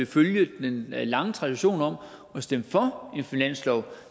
følge den lange tradition om at stemme for en finanslov